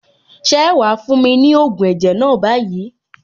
Ṣé wàá fún mi ní ògùn ẹ̀jẹ̀ náà báyìí?